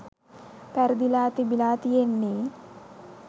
පැරදිලා තිබිලා තියෙන්නේ.